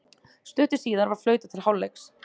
Stuttu síðar var flautað til hálfleiks.